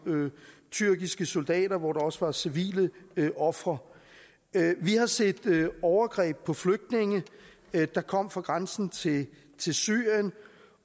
tyrkiske soldater hvor der også var civile ofre vi har set overgreb på flygtninge der kom fra grænsen til syrien